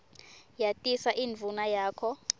yatisa indvuna yakho